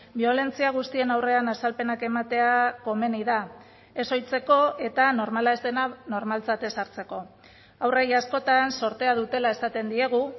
biolentzia guztien aurrean azalpenak ematea komeni da ez ohitzeko eta normala ez dena normaltzat ez hartzeko haurrei askotan zortea dutela esaten diegu